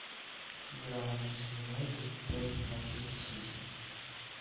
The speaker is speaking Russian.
игра манчестер юнайтед против манчестер сити